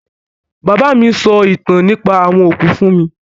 Bàbá mi sọ ìtàn nípa àwọn òkú fún mi